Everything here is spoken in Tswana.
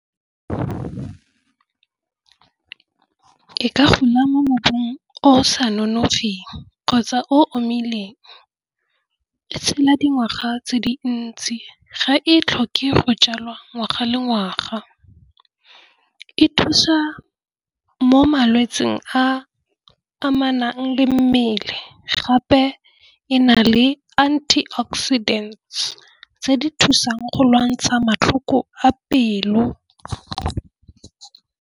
E ka gona mo mobung o sa nonofileng kgotsa o omileng le tshela dingwaga tse dintsi ga e tlhoke go jalwa ngwaga le ngwaga. E thusa mo malwetseng a amanang le mmele gape e na le antioxidant tse di thusang go lwantsha matlhoko a pelo.